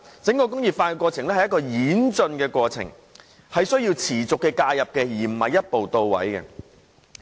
整個"再工業化"是一個演進的過程，需要持續的介入，而並非一步到位。